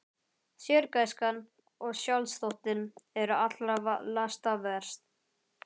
Sérgæskan og sjálfsþóttinn eru allra lasta verst.